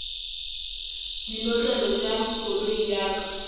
dinotlelo tša koloi ya ka